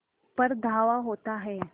पर धावा होता है